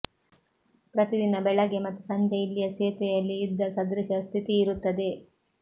ಪ್ರತಿದಿನ ಬೆಳಗ್ಗೆ ಮತ್ತು ಸಂಜೆ ಇಲ್ಲಿಯ ಸೇತುವೆಯಲ್ಲಿ ಯುದ್ಧ ಸದೃಶ ಸ್ಥಿತಿಯಿರುತ್ತದೆ